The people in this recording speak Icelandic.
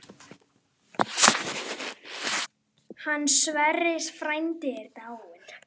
Hann Sverrir frændi er dáinn.